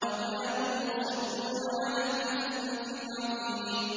وَكَانُوا يُصِرُّونَ عَلَى الْحِنثِ الْعَظِيمِ